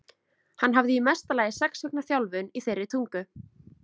Hann hafði í mesta lagi sex vikna þjálfun í þeirri tungu.